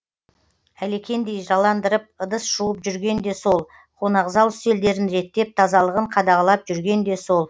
әлекендей жаландырып ыдыс жуып жүрген де сол қонақзал үстелдерін реттеп тазалығын қадағалап жүрген де сол